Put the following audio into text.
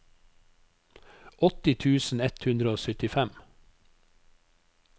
åtti tusen ett hundre og syttifem